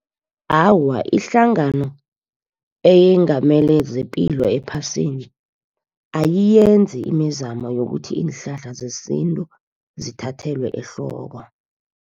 Awa, ihlangano eyengamele zepilo ephasini, ayiyenzi imizamo yokuthi iinhlahla zesintu, zithathelwe ehloko.